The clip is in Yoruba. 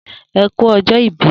E ku ọjọ ìbí